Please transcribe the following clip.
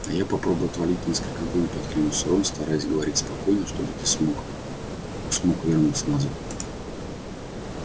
а я попробую отвалить несколько глыб откликнулся рон стараясь говорить спокойно чтобы ты смог смог вернуться назад